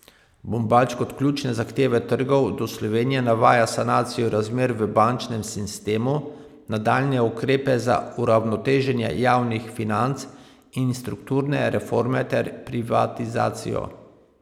Bombač kot ključne zahteve trgov do Slovenije navaja sanacijo razmer v bančnem sistemu, nadaljnje ukrepe za uravnoteženje javnih financ in strukturne reforme ter privatizacijo.